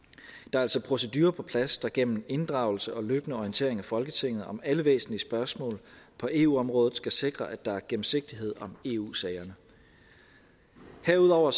er altså procedurer på plads der gennem en inddragelse og løbende orientering af folketinget om alle væsentlige spørgsmål på eu området skal sikre at der er gennemsigtighed om eu sagerne herudover